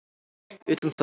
utan það.